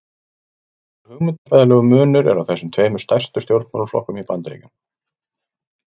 Nokkur hugmyndafræðilegur munur er á þessum tveimur stærstu stjórnmálaflokkum í Bandaríkjunum.